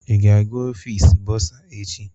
Ị ga-aga ọfịs bọrzà echi?